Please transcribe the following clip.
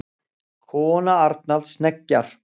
Kona Arnalds hneggjar.